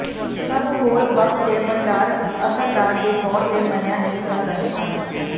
ਸਭ ਹੋਰ ਬਕ ਦੇ ਭੰਡਾਰ ਅਸਰਦਾਰ ਦੇ ਤੌਰ ਤੇ ਮੰਨਿਆ ਨਹੀ ਕਰ ਰਹੇ ਹਨ